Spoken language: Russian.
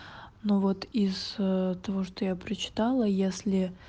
но вот из того что я прочитала если